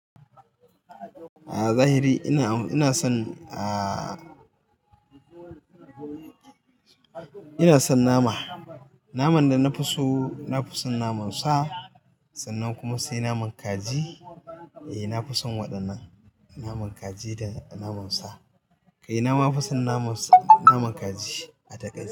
A zahiri ina, inason, aa inason nama. Naman danafi so, nafi son naman sa sannan kuma sai naman kaji. Eh nafi son waɗannan, naman kaji da naman sa. Kai namafi son naman sa, naman kaji a takaice.